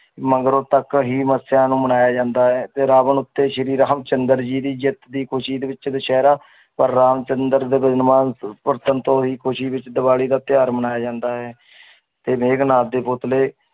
ਮਗਰੋਂ ਤੱਕ ਹੀ ਮੱਸਿਆ ਨੂੰ ਮਨਾਇਆ ਜਾਂਦਾ ਹੈ ਤੇ ਰਾਵਣ ਉੱਤੇ ਸ੍ਰੀ ਰਾਮ ਚੰਦਰ ਜੀ ਦੀ ਜਿੱਤ ਦੀ ਖ਼ੁਸ਼ੀ ਦੇ ਵਿੱਚ ਦੁਸਹਿਰਾ ਪਰ ਰਾਮ ਚੰਦਰ ਦੇ ਪਰਤਣ ਤੋਂ ਖ਼ੁਸ਼ੀ ਵਿੱਚ ਦੀਵਾਲੀ ਦਾ ਤਿਉਹਾਰ ਮਨਾਇਆ ਜਾਂਦਾ ਹੈ ਤੇ ਮੇਘਨਾਥ ਦੇ ਪੁੱਤਲੇ